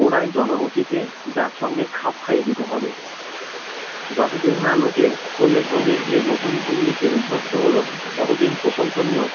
গোড়ায় জনগোষ্ঠী কে যার সঙ্গে খাপ খাইয়ে দিতে হবে যত দিন না লোকে ক্রমে ক্রমে এই নতুন ভঙ্গিতে অভ্যস্থ হলো ততদিন প্রশংসনীয়